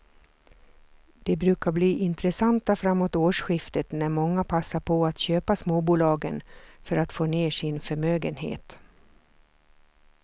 De brukar bli intressanta framåt årsskiftet när många passar på att köpa småbolagen för att få ner sin förmögenhet.